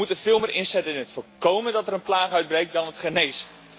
We moeten veel meer inzetten op voorkomen dat er een plaag uitbreekt dan genezen.